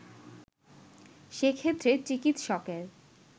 সেক্ষেত্রে চিকিৎসকের